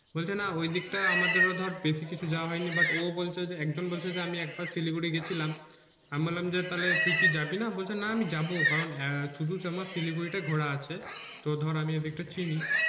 বলছে না ওই দিক টা আমাদেরও ধর বেশি কিছু যাওয়া হয় নি but ও বলছে যে একজন বলছে যে আমি এক বার শিলিগুড়ি গিয়েছিলাম আমি বললাম যে তালে তুই কি যাবি না বলছে যে না আমি যাবো কারণ শুধু আমার শিলিগুড়ি টা ঘোরা আছে তো ধর আমি ওই দিকটা চিনি